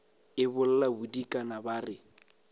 e bolla bodikana ba re